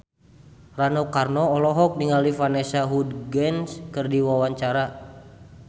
Rano Karno olohok ningali Vanessa Hudgens keur diwawancara